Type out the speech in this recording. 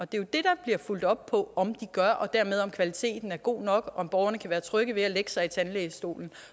det der bliver fulgt op på om de gør og dermed på om kvaliteten er god nok og om borgerne kan være trygge ved at lægge sig i tandlægestolen